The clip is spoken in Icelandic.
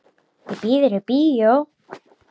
Ég býð þér í bíó.